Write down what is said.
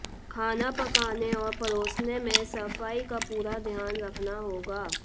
खाना पकाने और परोसने में सफाई का पूरा ध्यान रखना होगा